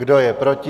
Kdo je proti?